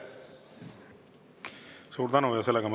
Suur tänu!